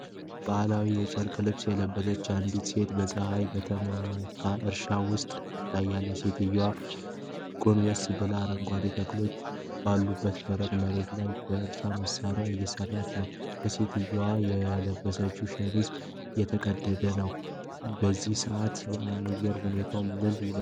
ባህላዊ የጨርቅ ልብስ የለበሰች አንዲት ሴት በፀሐይ በተመታ እርሻ ውስጥ ትታያለች። ሴትየዋ ጎንበስ ብላ፣ አረንጓዴ ተክሎች ባሉበት ደረቅ መሬት ላይ በእርሻ መሣሪያ እየሠራች ነው። ከሴትየዋ የለበሰችው ሸሚዝ የተቀደደ ነው። በዚህ ሰዓት የአየር ሁኔታው ምን ይመስላል?